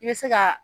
I bɛ se ka